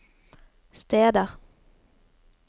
steder